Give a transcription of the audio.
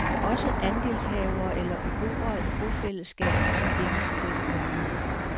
Også andelshavere eller beboere i bofællesskaber får penge til dette formål.